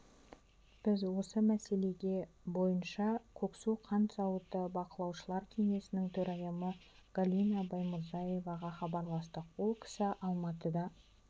біз осы мәселе бойынша көксу қант зауыты бақылаушылар кеңесінің төрайымы галина баймурзиеваға хабарластық ол кісі алматыда